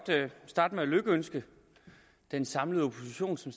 starte med at lykønske den samlede opposition som